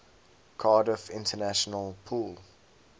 cardiff international pool